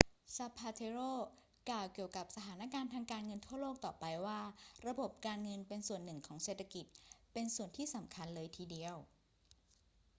zapatero กล่าวเกี่ยวกับสถานการณ์ทางการเงินทั่วโลกต่อไปว่า ระบบการเงินเป็นส่วนหนึ่งของเศรษฐกิจ เป็นส่วนที่สำคัญเลยทีเดียว